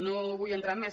no vull entrar en més